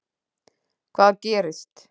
Hvað gerist?